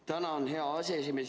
Tänan, hea aseesimees!